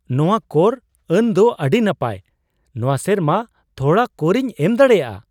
ᱱᱟᱶᱟ ᱠᱚᱨ ᱟᱹᱱ ᱫᱚ ᱟᱹᱰᱤ ᱱᱟᱯᱟᱭ ! ᱱᱚᱣᱟ ᱥᱮᱨᱢᱟ ᱛᱷᱚᱲᱟ ᱠᱚᱨᱤᱧ ᱮᱢ ᱫᱟᱲᱮᱭᱟᱜᱼᱟ !